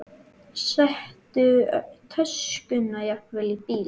Settu töskuna jafnvel í bílinn.